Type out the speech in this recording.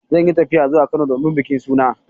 Zan yi tafiya zuwa Kano domin bikin suna.